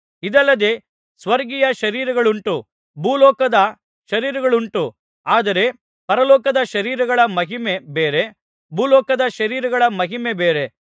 ಇದಲ್ಲದೆ ಸ್ವರ್ಗೀಯ ಶರೀರಗಳುಂಟು ಭೂಲೋಕದ ಶರೀರಗಳುಂಟು ಆದರೆ ಪರಲೋಕದ ಶರೀರಗಳ ಮಹಿಮೆ ಬೇರೆ ಭೂಲೋಕದ ಶರೀರಗಳ ಮಹಿಮೆ ಬೇರೆ